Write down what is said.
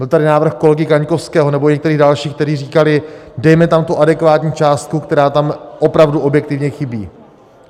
Byl tady návrh kolegy Kaňkovského nebo některých dalších, kteří říkali: dejme tam tu adekvátní částku, která tam opravdu objektivně chybí.